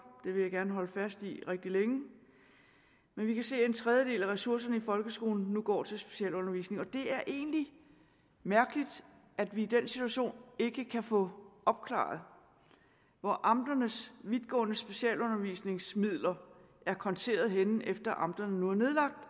det vil jeg gerne holde fast i rigtig længe men vi kan se at en tredjedel af ressourcerne i folkeskolen nu går til specialundervisning og det er egentlig mærkeligt at vi i den situation ikke kan få opklaret hvor amternes vidtgående specialundervisningsmidler er konteret henne efter at amterne nu er nedlagt